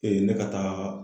Ee ne ka taa